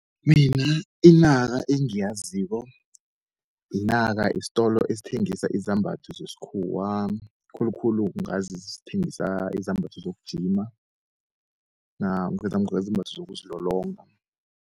Mina inaka engiyaziko inaka yisitolo esithengisa izambatho zesikhuwa, khulukhulu ngazi sithengisa izambatho sokujima namkha izambatho zokuzilolonga.